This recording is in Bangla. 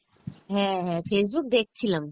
হ্যাঁ হ্যাঁ, Facebook দেখছিলাম